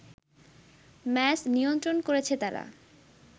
match নিয়ন্ত্রণ করেছে তারা